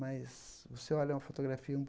Mas se você olha uma fotografia um